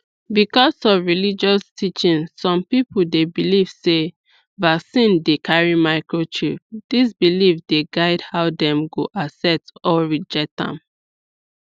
because of religious teaching some people dey believe sey vaccine dey carry microchip this belief the guide how dem go accept or reject am